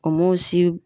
O m'o si